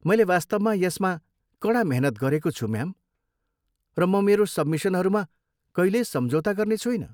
मैले वास्तवमा यसमा कडा मेहनत गरेको छु, म्याम, र म मेरो सब्मिसनहरूमा कहिल्यै सम्झौता गर्ने छुइनँ।